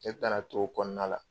E kana t'o kɔɔna la